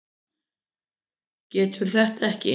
Getur þetta ekki.